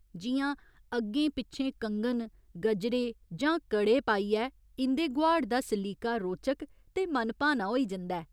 जि'यां अग्गें पिच्छें, कङन गजरे जां कड़े पाइयै इं'दे गोहाड़ दा सलीका रोचक ते मनभाना होई जंदा ऐ।